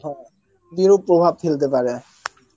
হ্যাঁ বিরূপ প্রভাব ফেলতে পারে